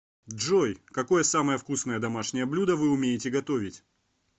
джой какое самое вкусное домашнее блюдо вы умеете готовить